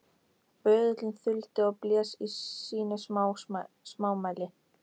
Böðullinn þuldi og blés í sínu smámæli